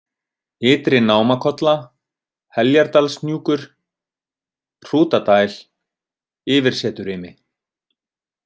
Ytri-Námakolla, Heljardalshnjúkur, Hrútadæl, Yfirseturimi